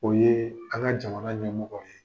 O ye anka jamana ɲɛmɔgɔ ye.